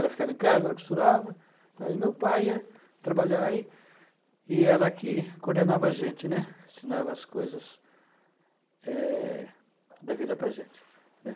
Ela ficava em casa, ela costurava, e meu pai ia trabalhar, e e ela que coordenava a gente, né, ensinava as coisas eh, da vida para a gente.